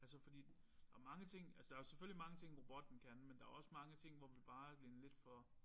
Altså fordi der mange ting altså der jo selvfølgelig mange ting robotten kan men der også mange ting hvor vi bare er blevet lidt for